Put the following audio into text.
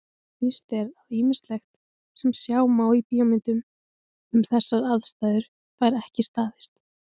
Víst er að ýmislegt sem sjá má í bíómyndum um þessar aðstæður fær ekki staðist.